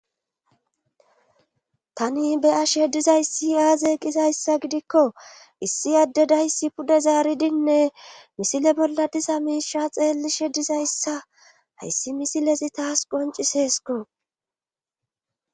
tani beyash heddizayssi aaze qizayssa gidikko issi adde dayssi pude zaaridinne misile bolla disa miisha xeelli shedizayssa hayssi misilezi taas qonciseesko